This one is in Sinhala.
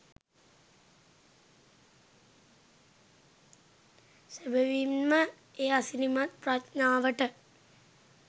සැබැවින් ම ඒ අසිරිමත් ප්‍රඥාවට